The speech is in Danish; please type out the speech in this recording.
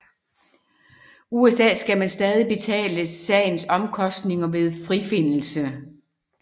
I USA skal man stadig betale sagens omkostninger ved frifindelse